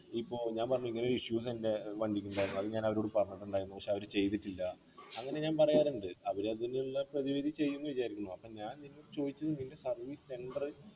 ഇപ്പൊ ഞാൻ പറഞ്ഞില്ലെ ഇങ്ങനെ ഒരു issues ണ്ട് വണ്ടിക്ക് ന്നാലും ഞാനവരോട് പറഞ്ഞട്ട് ണ്ടാരുന്നു പക്ഷെ അവര് ചെയ്തിട്ടില്ല അങ്ങനെ ഞാൻ പറയാറുണ്ട് അവരത്തിനുള്ള പ്രതിവിധി ചെയ്യും ന്ന് വിചാരിക്കുന്നു അപ്പൊ ഞാൻ നിന്ന ചോയ്ച്ചത് നിന് service centre